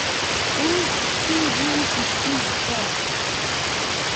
Wuui biibu buskut soam